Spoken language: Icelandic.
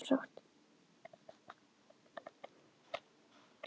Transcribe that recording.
Hann var fertugur, þetta var eðlilegt og sjálfsagt.